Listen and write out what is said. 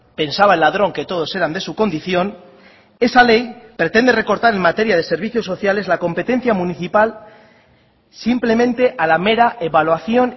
pensaba el ladrón que todos eran de su condición esa ley pretende recortar en materia de servicios sociales la competencia municipal simplemente a la mera evaluación